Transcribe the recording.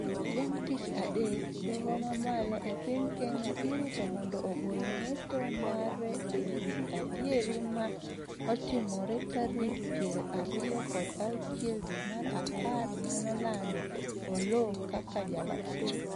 Chieng' tich adek doho ma malo e piny Kenya irito mondo ogol ng'eto mare e wi adieri mar otimore tarik piero ariyo kod auchiel dwe mar apar manolando Oloo kaka Jaloch